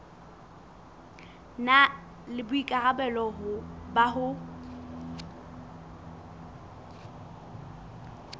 na le boikarabelo ba ho